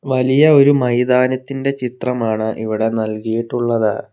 വലിയ ഒരു മൈതാനത്തിന്റെ ചിത്രമാണ് ഇവിടെ നൽകിയിട്ടുള്ളത്.